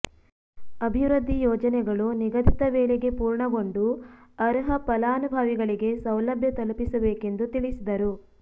ಅಭಿವೃದ್ಧಿ ಯೋಜನೆಗಳು ನಿಗದಿತ ವೇಳೆಗೆ ಪೂರ್ಣಗೊಂಡು ಅರ್ಹ ಫಲಾನುಭವಿಗಳಿಗೆ ಸೌಲಭ್ಯ ತಲುಪಿಸಬೇಕೆಂದು ತಿಳಿಸಿದರು